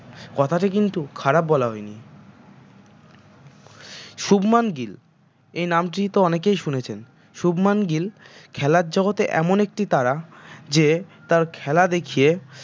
কথাটা কিন্তু খারাপ বলা হয়নি শুভমান গিল এই নামটি তো অনেকেই শুনেছেন শুভমান গিল খেলার জগতে এমন একটি তারা যে তার খেলা দেখিয়ে